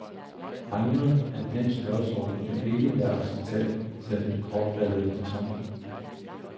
Revner af den størrelsorden vil ikke være acceptabelt, sagde den kortfattede betonmand.